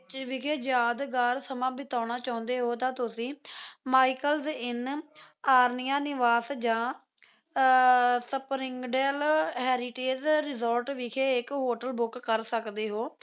ਕੋੱਚੀ ਵਿਖੇ ਯਾਦਗਾਰ ਸਮਾਂ ਬਿਤਾਉਣਾ ਚਾਹੁੰਦੇ ਹੋ ਤਾਂ ਤੁਸੀਂ ਮਾਇਕਲਸ ਇੰਨ, ਆਰਨਿਆ ਨਿਵਾਸ ਜਾਂ ਸਪਰਿੰਗਡੇਲ ਹੈਰੀਟੇਜ਼ ਰਿਸੋਰਟ ਵਿਖੇ ਇੱਕ hotel book ਕਰ ਸਕਦੇ ਹੋ